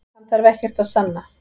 Hann þarf ekkert að sanna